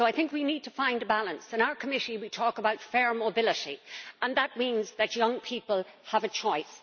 So I think we need to find a balance. In our committee we talk about fair mobility, and that means that young people have a choice.